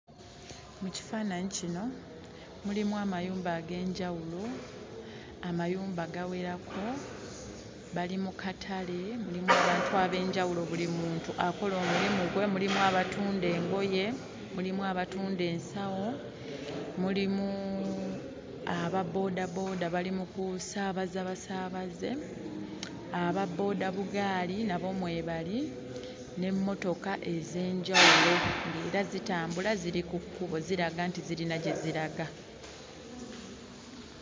Mu kifaananyi kino mulimu amayumba ag'enjawulo, amayumba gawerako, bali mu katale. Mulimu bantu ab'enjawulo, buli muntu akola omulimu gwe, mulimu abatunda engoye, mulimu abatunda ensawo, mulimu ababboodabooda bali mu kusaabaza basaabaze, ababbooda-bugaali nabo mwebali n'emmotoka ez'enjawulo ng'era zitambula, ziri ku kkubo ziraga nti zirina gye ziraga.